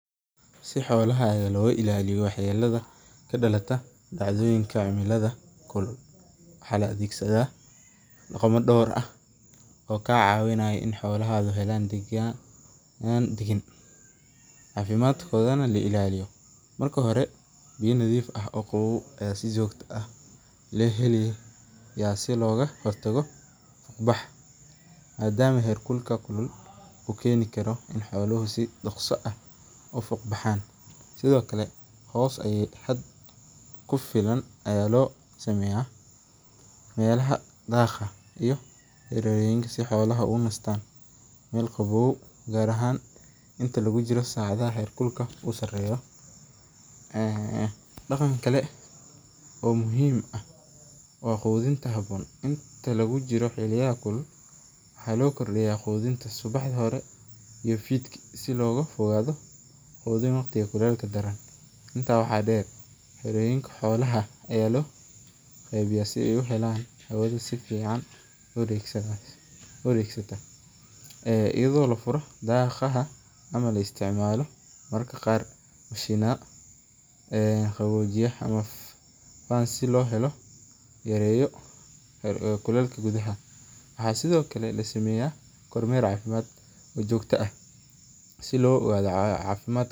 Si xoolaha looga ilaaliyo, waxaa la adeegsada, cafimaadkooda la ilaaliyo, si looga hor tago, madama heer kulka uu keeni karo in xoolaha, kufilan ayaa loo sameeya neelaha daaqa, daqanka kale oo muhiim u ah inta lagu jiro waxaa loo kordiya qudinta, waxeey ledahay xoogsin fican, mararka qaar, yareeyo kukeekka gudaha.